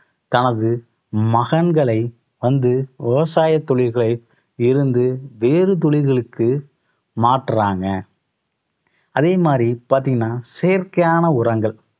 தனது மகன்களை வந்து விவசாய தொழில்களை இருந்து வேறு தொழில்களுக்கு மாற்றாங்க. அதே மாதிரி பார்த்தீங்கன்னா செயற்கையான உரங்கள்.